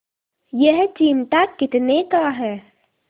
यह चिमटा कितने का है